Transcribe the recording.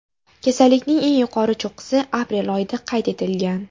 Kasallikning eng yuqori cho‘qqisi aprel oyida qayd etilgan.